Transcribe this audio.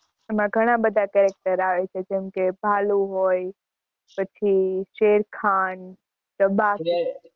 એમાં ઘણા બધા character આવે છે, જેમ કે, ભાલુ હોય, પછી શેરખાન,